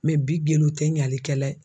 bi gindo te ɲalikɛla ye.